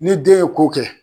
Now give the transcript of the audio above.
Ni den ye ko kɛ